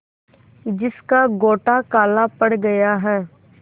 जिसका गोटा काला पड़ गया है